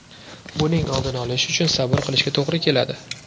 Buning oldini olish uchun sabr qilishga to‘g‘ri keladi.